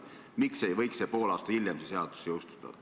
Miks ei võiks see seadus pool aastat hiljem jõustuda?